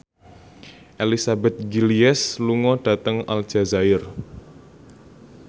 Elizabeth Gillies lunga dhateng Aljazair